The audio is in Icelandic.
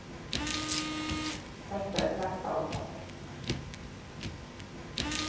Þetta er hjartaáfall.